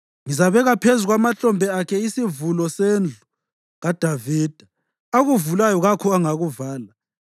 Ngizabeka phezu kwamahlombe akhe isivulo sendlu kaDavida; akuvulayo kakho ongakuvala.